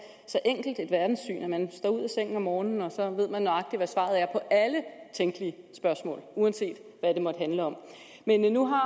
så enkelt et verdenssyn at man står ud af sengen om morgenen og så ved man nøjagtig hvad svaret er på alle tænkelige spørgsmål uanset hvad de måtte handle om men nu har